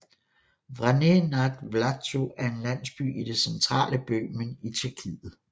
Vrané nad Vltavou er en landsby i det centale Böhmen i Tjekkiet